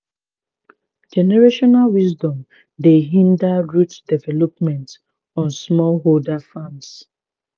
generational wisdom dey hinder root development on smallholder farms.